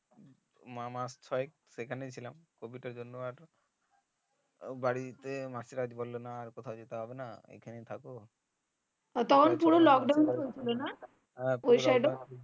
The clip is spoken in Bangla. মাস ছয়েক সেখানে ছিলাম COVID এর জন্য আর বাড়িতে মাসির বললো যে না কোথাও যেতে হবে না এখানেই থাকো